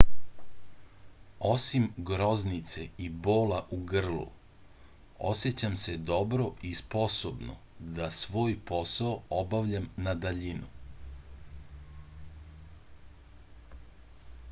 osim groznice i bola u grlu osećam se dobro i sposobno da svoj posao obavljam na daljinu